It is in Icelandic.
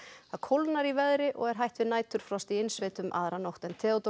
það kólnar í veðri og er hætt við næturfrosti í innsveitum aðra nótt Theodór